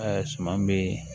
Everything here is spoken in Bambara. suman bi